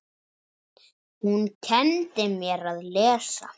Hún kenndi mér að lesa.